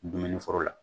Dumuni foro la